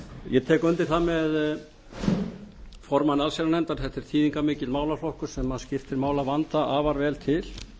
ég tek undir það með formanni allsherjarnefndar þetta er þýðingarmikill málaflokkur sem skiptir máli að vanda afar vel til